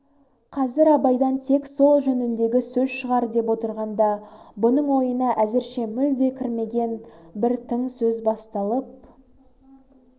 қазір абайдан тек сол жөніндегі сөз шығар деп отырғанда бұның ойына әзірше мүлде кірмеген бір тың сөз басталып